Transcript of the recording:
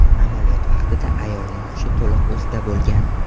Amaliyot vaqtida ayolning hushi to‘liq o‘zida bo‘lgan.